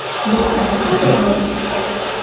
Bu qanday sodir bo‘ldi?